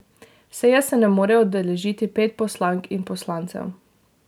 Seje se ne more udeležiti pet poslank in poslancev.